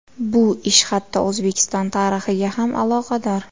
Bu ish hatto O‘zbekiston tarixiga ham aloqador.